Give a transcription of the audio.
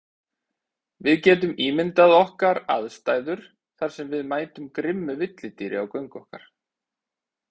Við getum ímyndað okkar aðstæður þar sem við mætum grimmu villidýri á göngu okkar.